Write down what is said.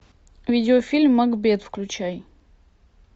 видеофильм макбет включай